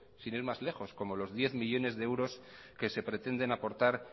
sin ir más lejos como los diez millónes de euros que se pretenden aportar